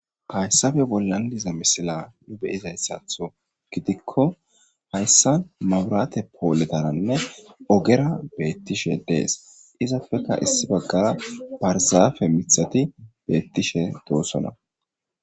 Hayssappe bollan diza misila nu be'izaysatho gidikko haysaan mabrate poletaranne ogera beetishe dees izappeka issi bagaara barzaape miththati beetishe dosonna.